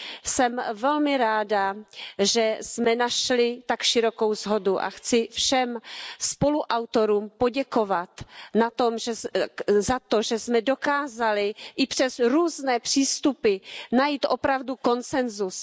Jsem velmi ráda, že jsme našli tak širokou shodu a chci všem spoluautorům poděkovat za to, že jsme dokázali i přes různé přístupy najít opravdu koncensus.